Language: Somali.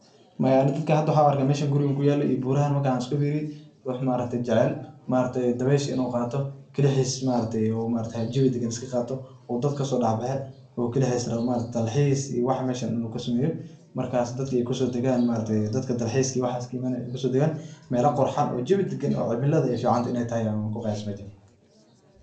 Maya aniga dadka waxan uarka meeshan gurigan kuyalo iyo burahan markan iskufiriye ruux maaaragte jecel in uu dawesha qatoo kalixis in uu jawi dagan iskaqato oo dadka kasodexbaxe oo kalixis rawo in uu dalxis meeshan inu kasameya oo dadka kusodagan dadka dalxiis kaimanayin ey kusodagan, meela qurxan oo jawi dagan oo cimila fican in ey tahay ayan kuqayase.